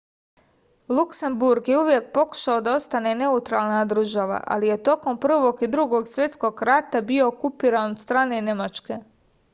luksemburg je uvek pokušao da ostane neutralna država ali je tokom prvog i tokom drugog svetskog rata bio okupiran od strane nemačke